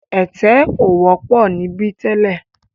Ẹ̀tẹ̀ ò wọ́pọ̀ níbí tẹ́lẹ̀.